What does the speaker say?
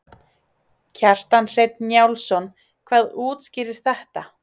Kjartan Hreinn Njálsson: Hvað útskýrir þetta?